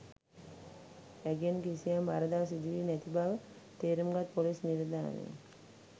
ඇගෙන් කිසියම් වරදක් සිදු වී නැති බව තේරුම්ගත් පොලිස් නිලධාරින්